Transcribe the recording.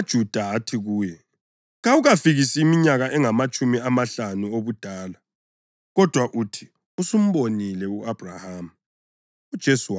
AmaJuda athi kuye, “Kawukafikisi iminyaka engamatshumi amahlanu obudala, kodwa uthi usumbonile u-Abhrahama!”